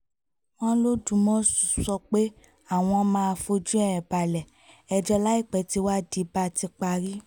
wọ́n lodúmọ̀ṣù sọ pé àwọn máa fojú ẹ̀ balẹ̀-ẹjọ́ láìpẹ́ tíwádìí bá ti parí